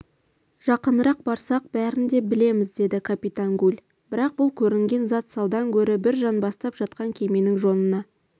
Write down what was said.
жақынырақ барсақ бәрін де білеміз деді капитан гуль бірақ бұл көрінген зат салдан гөрі бір жанбастап жатқан кеменің жонына